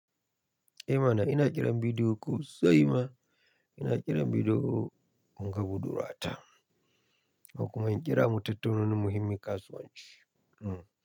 Eh mana ina ƙiran bidiyo call sosai ma ina ƙiran bidiyo call in ga budur wa ta. Komuma in kira mu tattauna wani muhimmin kasuwanci. Hmm.